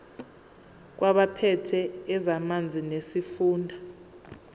kwabaphethe ezamanzi nesifunda